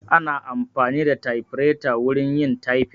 Ana amfani da tafireta wurin yin tyfin